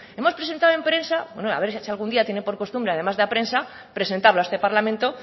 hemos presentado en prensa bueno a ver si algún día tiene por costumbre además de a prensa presentarlo a este parlamento